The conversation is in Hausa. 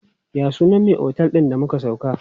Ya sunan me otel din da muka sauka?